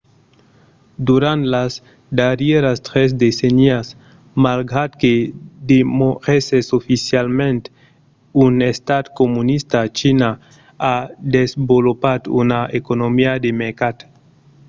durant las darrièras tres decennias malgrat que demorèsses oficialament un estat comunista china a desvolopat una economia de mercat